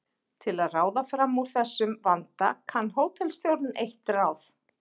Til að ráða fram úr þessum vanda kann hótelstjórinn eitt ráð.